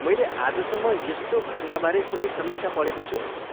मैले आजसम्म यस्तो घटनाबारे कुनै समीक्षा पढेको छुइनँ।